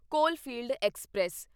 Coalfield express